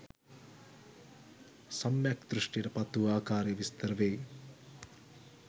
සම්‍යක් දෘෂ්ටියට පත්වූ ආකාරය විස්තර වෙයි.